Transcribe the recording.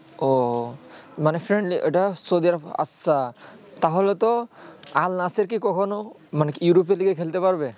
উহ মানে friend সুজে আচ্ছা তা হলে তো আল নাসের কে কখনো মানে কি europe দিকে খেলতে পারবে